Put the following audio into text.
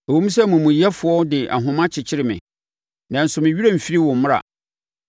Ɛwom sɛ amumuyɛfoɔ de ahoma kyekyere me nanso me werɛ remfiri wo mmara.